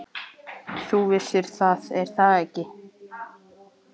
Þú vissir það, er það ekki?